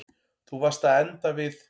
Þú varst að enda við.